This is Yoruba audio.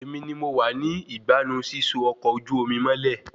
Èmi ni mo wá ní ìgbánnu síso ọkọ ojú omi mọ́lẹ̀